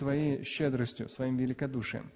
твоей щедростью своим великодушием